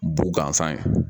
Bu gansan ye